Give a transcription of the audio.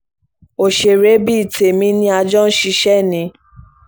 òṣèré bíi tèmi ni a jọ ń ṣiṣẹ́ ni